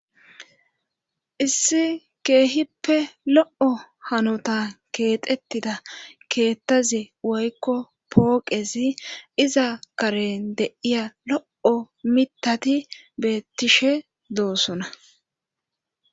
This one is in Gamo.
issi keehippe lo'o hanota keexettida keettazi woykko pooqezi iza karen de'iya lo'o mitati beettishe doosona